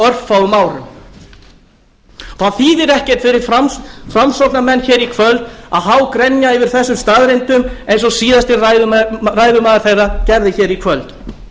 örfáum árum það þýðir ekkert fyrir framsóknarmenn hér í kvöld að hágrenja yfir þessum staðreyndum eins og síðasti ræðumaður þeirra gerði hér í kvöld